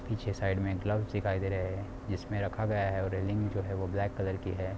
पीछे साइड मे ग्लव्स दिखाई दे रहे है जिसमे रखा गया है और रेलिंग जो है वो ब्लैक कलर की है।